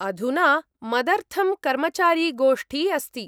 - अधुना मदर्थं कर्मचारिगोष्ठी अस्ति।